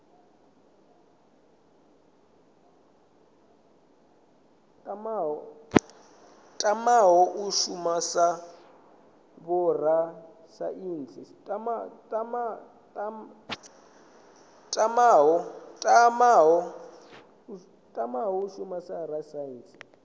tamaho u shuma sa vhorasaintsi